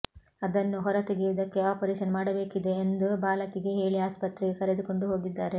ಅದನ್ನು ಹೊರ ತೆಗೆಯುವುದಕ್ಕೆ ಆಪರೇಷನ್ ಮಾಡಬೇಕಿದೆ ಎಂದು ಬಾಲಕಿಗೆ ಹೇಳಿ ಆಸ್ಪತ್ರೆಗೆ ಕರೆದುಕೊಂಡು ಹೋಗಿದ್ದಾರೆ